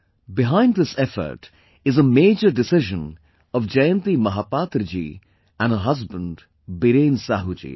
Behind this effort is a major decision of Jayanti Mahapatra ji and her husband Biren Sahu ji